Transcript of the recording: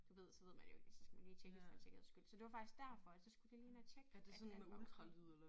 Du ved så ved man jo ikke og så skal man lige tjekkes for en sikkerheds skyld så det var faktisk derfor at så skulle vi lige ind og tjekke at alt var okay